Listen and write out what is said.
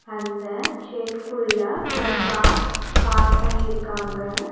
அந்த ஷெட்க்குள்ள ஒரு கார் ஸ் பார்க் பண்ணிருக்காங்க.